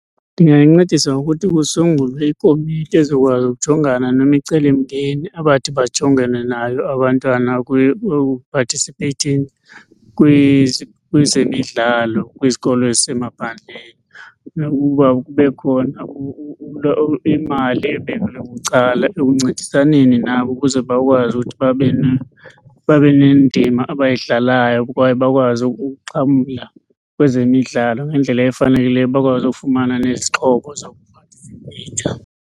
Ndingayincedisa ngokuthi kusungulwe ikomiti ezokwazi ukujongana nemicelimngeni abathi bajongane nayo abantwana participating kwezemidlalo kwizikolo ezisemaphandleni. Nokuba kube khona imali ebekelwe bucala ekuncedisaneni nabo ukuze bakwazi ukuthi babe babe nendima abayidlalayo kwaye bakwazi ukuxhamla kwezemidlalo ngendlela efanelekileyo, bakwazi ufumana nezixhobo zokupatisipeyitha.